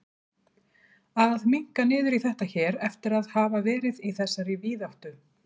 Að minnka niður í þetta hér eftir að hafa verið í þessari víðáttu.